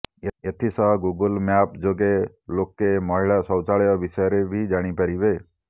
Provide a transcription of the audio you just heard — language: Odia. ଏଥିସହ ଗୁଗୁଲ ମ୍ୟାପ୍ ଯୋଗେ ଲୋକେ ମହିଳା ଶୌଚାଳୟ ବିଷୟରେ ବି ଜାଣିପାରିବେ